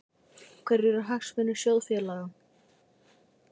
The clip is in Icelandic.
Hverjir eru hagsmunir sjóðfélaga?